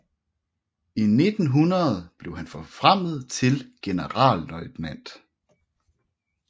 I 1900 blev han forfremmet til generalløjtnant